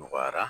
Nɔgɔyara